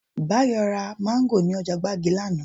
Báyọ̀ ra Máńgò ní ọjà gbági lánàá